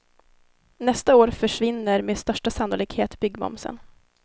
Nästa år försvinner med största sannolikhet byggmomsen.